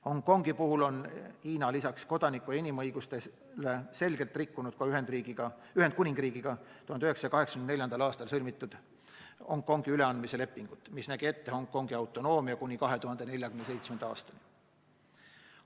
Hongkongi puhul on Hiina lisaks kodaniku- ja inimõigustele selgelt rikkunud Ühendkuningriigiga 1984. aastal sõlmitud Hongkongi üleandmise lepingut, mis nägi ette Hongkongi autonoomia kuni 2047. aastani.